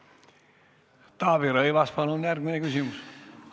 Taavi Rõivas, palun järgmine küsimus!